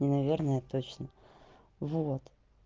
не наверное а точно вот